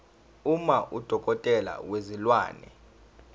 uma udokotela wezilwane